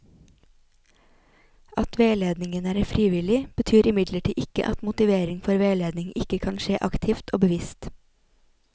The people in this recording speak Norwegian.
At veiledningen er frivillig, betyr imidlertid ikke at motivering for veiledning ikke kan skje aktivt og bevisst.